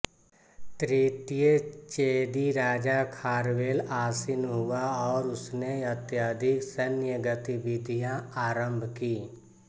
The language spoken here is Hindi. तृतीय चेदि राजा खारवेल आसीन हुआ और उसने अत्यधिक सैन्य गतिविधियां आरम्भ कीं